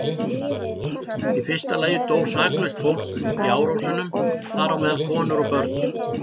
Í fyrsta lagi dó saklaust fólk í árásunum, þar á meðal konur og börn.